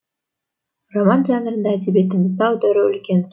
роман жанрында әдебиетімізді аудару үлкен сын